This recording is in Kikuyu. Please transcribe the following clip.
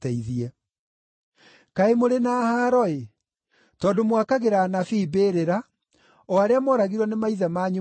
“Kaĩ mũrĩ na haaro-ĩ! Tondũ mwakagĩra anabii mbĩrĩra, o arĩa mooragirwo nĩ maithe manyu ma tene.